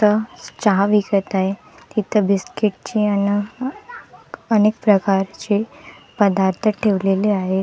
इथं चहा विकत आहेत तिथं बिस्किट ची अन अनेक प्रकारची पदार्थ ठेवलेले आहेत.